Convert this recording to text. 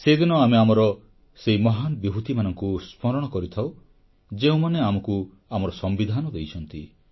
ସେଦିନ ଆମେ ଆମର ସେହି ମହାନ ବିଭୂତିମାନଙ୍କୁ ସ୍ମରଣ କରିଥାଉ ଯେଉଁମାନେ ଆମକୁ ଆମର ସମ୍ବିଧାନ ଦେଇଛନ୍ତି